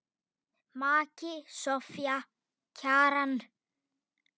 Maki Soffía Kjaran.